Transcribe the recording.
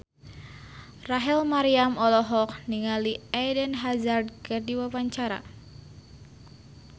Rachel Maryam olohok ningali Eden Hazard keur diwawancara